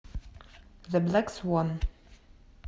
зе блэк свон